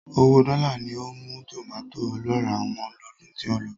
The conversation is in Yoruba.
Owóo dọ́là ni ó mú tòmàtó ọlọ́ràá wọ́n lọ́dún tí ó lọ.